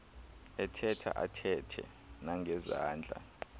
ethetha athethe nangezandla